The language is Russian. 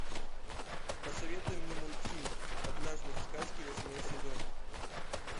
посоветуй мне мультфильм однажды в сказке восьмой сезон